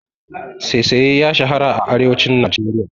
Saisaye ya shara a arewacin Najeriya.